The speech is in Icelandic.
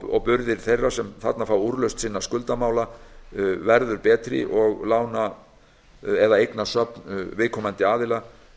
og burðir þeirra sem þarna fá úrlausn sinna skuldamála verða betri og eignasöfn viðkomandi aðila